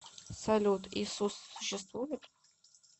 салют иисус существует